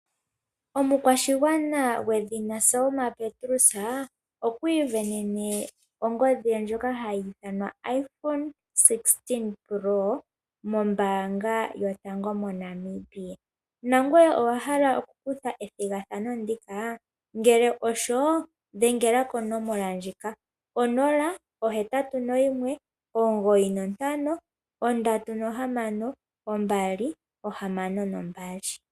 Omukwashigwana gwedhina Selma Petrus, okwiivenene ongodhi ye ndjoka hayi ithanwa iphone 16 pro mombaanga yotango moNamibia. Nangoye owa hala okukutha ethigathano ndika? Ngele osho, dhengela konomola ndjika: 0819536262